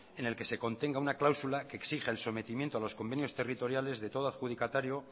en el que se contenga una cláusula que exija el sometimiento a los convenios territoriales de todo adjudicatario